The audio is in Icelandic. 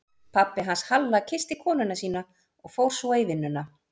Pabbi hans Halla kyssti konuna sína og fór svo í vinnuna.